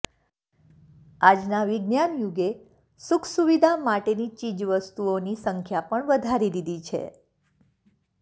આજના વિજ્ઞાન યુગે સુખસુવિધા માટેની ચીજવસ્તુઓની સંખ્યા પણ વધારી દીધી છે